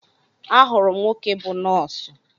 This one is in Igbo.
Ahụrụ m nwoke bụ nọọsụ